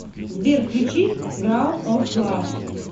сбер включи краун оф лав